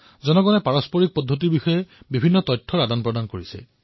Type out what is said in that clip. জনতাই পৰম্পৰাগত পদ্ধতিসমূহৰ বিষয়ে তথ্য বিনিময় কৰিছে